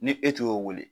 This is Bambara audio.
Ni e tun y'o wele